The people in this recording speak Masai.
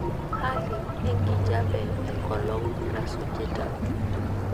hali enkijape engolon nasujita